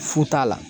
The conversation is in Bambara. Fu t'a la